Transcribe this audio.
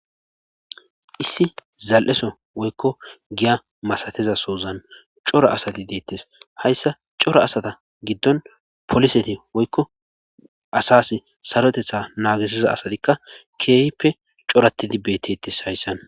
issi zal7eso woykko giya masatezasozan cora asati deettes hayssa cora asata giddon poliseti woykko asas sarotetha naagisiza asatikka keeyhippe coratidi beettettes hayssan